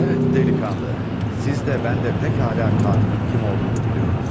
Əhməd Dəliqağ, siz də mən də pek hala qatilin kim olduğunu biliyoruz.